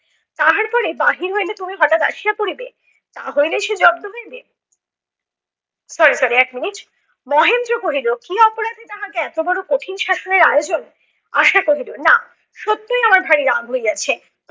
পরে বাহির হইলে তুমি হঠাৎ আসিয়া পড়িবে। তা হইলেই সে জব্দ হইবে। sorrysorry এক minute মহেন্দ্র কহিল কী অপরাধে তাহাকে এত বড় কঠিন শাসনের আয়োজন? আশা কহিল, না সত্যই আমার ভাই রাগ হইয়াছে।